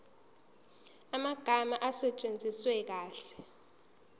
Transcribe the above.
amagama asetshenziswe kahle